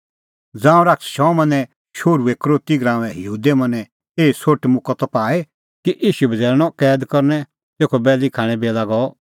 ज़ांऊं शैतान शमौने शोहरू यहूदा इसकरोतीए मनैं एही सोठ मुक्कअ त पाई कि ईशू बझ़ैल़णअ कैद करनै तेखअ बैल़ी खाणें बेला गअ